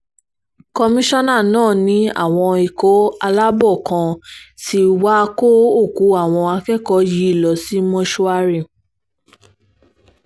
kọmíṣánná náà ní àwọn ikọ̀ aláàbọ̀ kan tí wàá kó òkú àwọn akẹ́kọ̀ọ́ yìí lọ sí mọ́ṣúárì